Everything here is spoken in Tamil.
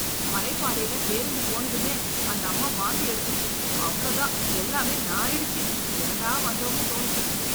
மலை பாதையில பேருந்து போனதுமே அந்த அம்மா வாந்தி எடுத்துச்சு, அவ்ளோதான் எல்லாம் நாறிடுச்சு, ஏன்டா வந்தோம்னு தோணுச்சு.